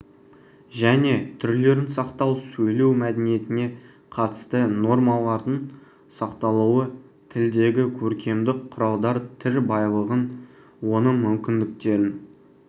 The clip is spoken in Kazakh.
және түрлерін сақтау сөйлеу мәдениетіне қатысты нормалардың сақталуы тілдегі көркемдік құралдар тіл байлығын оның мүмкіндіктерін